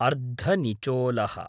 अर्धनिचोलः